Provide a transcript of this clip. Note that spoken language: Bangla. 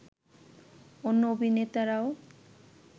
অন্য অভিনেতারাও